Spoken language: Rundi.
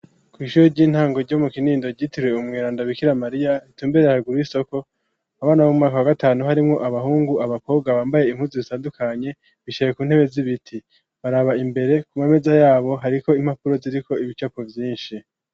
Kw'ishure ry'intango ryo mu Kinindo ryitiriwe umweranda Bikira Mariya, ritumbereye haruguru y'isoko, abana bo mu mwaka wa gatanu, harimwo abahungu, abakobwa bambaye impuzu zitandukanye, bicaye ku ntebe z'ibiti, baraba imbere, ku mameza yabo hariko impapuro ziriko ibicapo vyinshi.